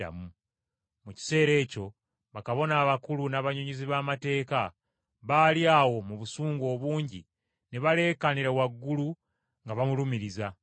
Mu kiseera ekyo, bakabona abakulu, n’abannyonnyozi b’amateeka baali awo mu busungu obungi ne baleekaanira waggulu nga bamulumiriza.